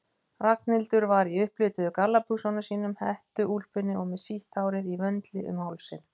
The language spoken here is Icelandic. Ragnhildur var í upplituðu gallabuxunum sínum, hettuúlpunni og með sítt hárið í vöndli um hálsinn.